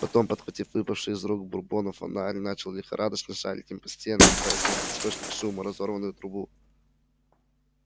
потом подхватив выпавший из рук бурбона фонарь начал лихорадочно шарить им по стенам пытаясь найти источник шума разорванную трубу